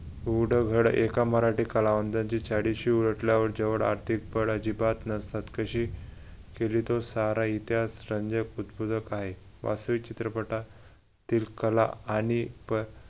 एका मराठी कलावंतांची चाळीशी उलटल्यावर जेवढ अधिक अजिबात नसतात कशी केली तर सारा इतिहास रंजक उद्बोधक आहे असे चित्रपटातील कला आणि